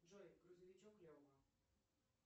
джой грузовичок лева